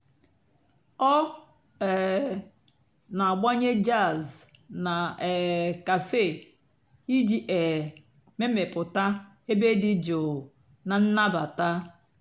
ọ́ um nà-àgbànyé jàzz nà um càfé ìjì um mèmèpụ́tá èbé dị́ jụ́ụ́ nà ǹnàbátá.